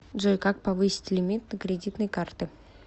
джой как повысить лимит на кредитной карты